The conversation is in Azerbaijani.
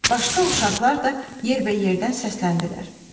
Başqa uşaqlar da yerbəyerdən səsləndilər.